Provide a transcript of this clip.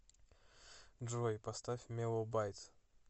джой поставь меллоубайт